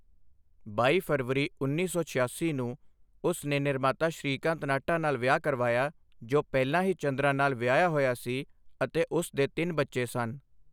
ਬਾਈ ਫਰਵਰੀ ਉੱਨੀ ਸੌ ਛਿਆਸੀ ਨੂੰ, ਉਸ ਨੇ ਨਿਰਮਾਤਾ ਸ਼੍ਰੀਕਾਂਤ ਨਾਹਟਾ ਨਾਲ ਵਿਆਹ ਕਰਵਾਇਆ, ਜੋ ਪਹਿਲਾਂ ਹੀ ਚੰਦਰਾ ਨਾਲ ਵਿਆਹਿਆ ਹੋਇਆ ਸੀ ਅਤੇ ਉਸ ਦੇ ਤਿੰਨ ਬੱਚੇ ਸਨ।